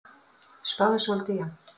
Spáðu svolítið í hann.